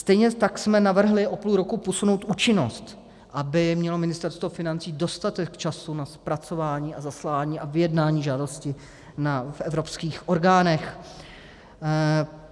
Stejně tak jsme navrhli o půl roku posunout účinnost, aby mělo Ministerstvo financí dostatek času na zpracování a zaslání a vyjednání žádosti v evropských orgánech.